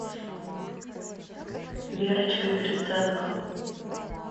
верочкой гриценко